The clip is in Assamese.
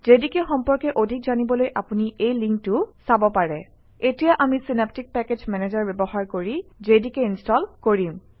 জেডিকে সম্পৰ্কে অধিক জানিবলৈ আপুনি এই লিংকটো চাব পাৰে এতিয়া আমি চিনাপ্টিক পেকেজ মেনেজাৰ ব্যৱহাৰ কৰি জেডিকে ইনষ্টল কৰিম